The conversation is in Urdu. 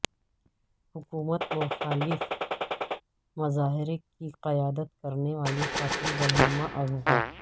حکومت مخالف مظاہرے کی قیادت کرنے والی خاتون رہنما اغوا